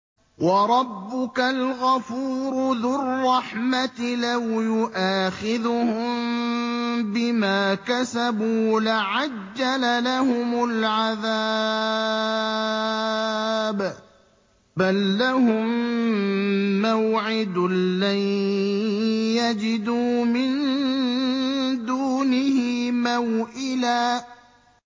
وَرَبُّكَ الْغَفُورُ ذُو الرَّحْمَةِ ۖ لَوْ يُؤَاخِذُهُم بِمَا كَسَبُوا لَعَجَّلَ لَهُمُ الْعَذَابَ ۚ بَل لَّهُم مَّوْعِدٌ لَّن يَجِدُوا مِن دُونِهِ مَوْئِلًا